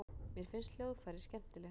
Mér finnst hljóðfræði skemmtileg.